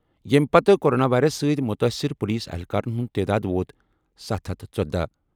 ییٚمہِ پتہٕ corona virus سۭتۍ مُتٲثِر پولیس اہلکارَن ہُنٛد تعداد ووت ستھ ہتھ تہٕ ژۄدہ۔